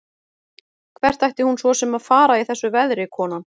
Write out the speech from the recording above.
Hvert ætti hún svo sem að fara í þessu veðri, konan?